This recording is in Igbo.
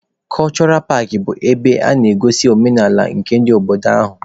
Kọchọra paakị bụ ebe a na-egosi omenaala nke ndị obodo ahụ.